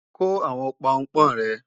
Kó àwọn Pọnpọ́n rẹ!